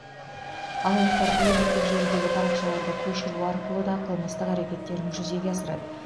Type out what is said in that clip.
алаяқтар әлеуметтік желідегі парақшаларды көшіру арқылы да қылмыстық әрекеттерін жүзеге асырады